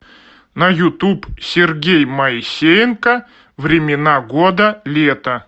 на ютуб сергей моисеенко времена года лето